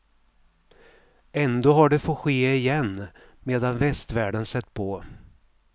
Ändå har det fått ske igen, medan västvärlden sett på.